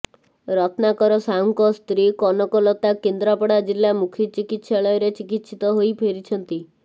ରତ୍ନାକର ସାହୁଙ୍କ ସ୍ତ୍ରୀ କନକଲତା କେନ୍ଦ୍ରାପଡା ଜିଲ୍ଲା ମୁଖ୍ୟ ଚକିତ୍ସାଳୟରେ ଚିକିତ୍ସିତ ହୋଇ ଫେରିଛନ୍ତି